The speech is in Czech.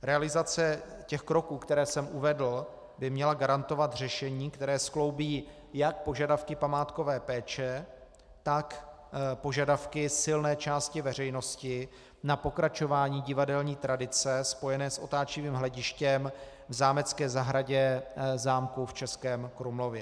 Realizace těch kroků, které jsem uvedl, by měla garantovat řešení, které skloubí jak požadavky památkové péče, tak požadavky silné části veřejnosti na pokračování divadelní tradice spojené s otáčivým hledištěm v zámecké zahradě zámku v Českém Krumlově.